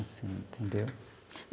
Assim, entendeu?